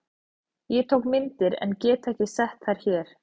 Ég tók myndir en get ekki sett þær hér.